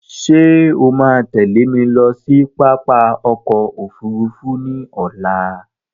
Ṣé o máa tẹ́lẹ̀ mi lọ sí pápá ọkọ òfúrúúfú ní ọ̀la?